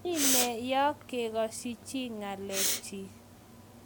mii nee ni yak kegoshi chii ngelek chi